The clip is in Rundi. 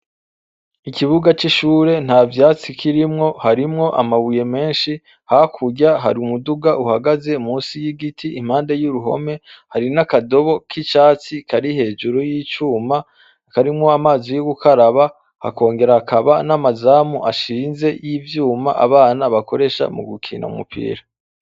Ikibuga c' ishure ntavyatsi kirimwo harimwo amabuye menshi hakurya hari umuduga uhagaze musi y' igiti impande y' uruhome hari n' akadogo k' icatsi kari hejuru y' icuma karimwo amazi yo gukaraba hakongera hakaba n' amazamu ashinze y' ivyuma abana bakoresha mu gukina umupira.